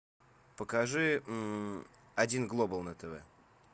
покажи один глобал на тв